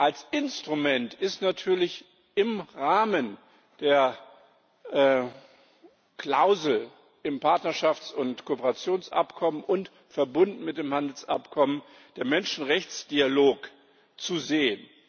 Als Instrument ist natürlich im Rahmen der Klausel im Partnerschafts und Kooperationsabkommen und verbunden mit dem Handelsabkommen der Menschenrechtsdialog zu sehen.